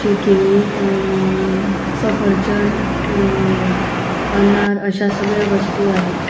हि केळी अ-अ- सफरचंद अ अनार अश्या सगळ्या वस्तु आहेत.